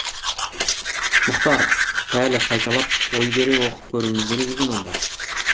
мұхтар пәлі қайталап ой бере оқып көруіміз керек екен онда